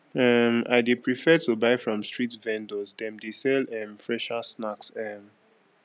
um i dey prefer to buy from street vendors dem dey sell um fresher snacks um